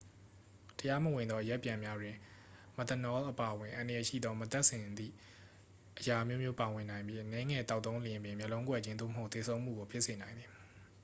တရားမဝင်သောအရက်ပြန်များတွင် မက်သနောလ်အပါအဝင် အန္တရာယ်ရှိသော မသန့်စင်သည့်အရာအမျိုးမျိုး ပါဝင်နိုင်ပြီး အနည်းငယ်သောက်သုံးလျှင်ပင် မျက်လုံးကွယ်ခြင်း သို့မဟုတ် သေဆုံးမှုကို ဖြစ်စေနိုင်သည်